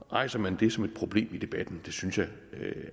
rejser man det som et problem i debatten det synes jeg